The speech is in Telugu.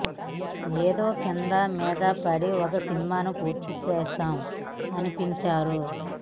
ఏదో కిందా మీదా పడి ఒక సినిమాను పూర్తి చేసాం అనిపించారు